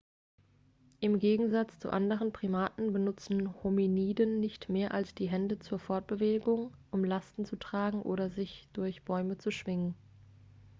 im gegensatz zu anderen primaten benutzen hominiden nicht mehr die hände zur fortbewegung um lasten zu tragen oder um sich durch bäume zu schwingen